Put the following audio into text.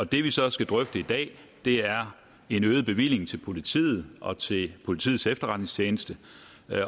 det vi så skal drøfte i dag er en øget bevilling til politiet og til politiets efterretningstjeneste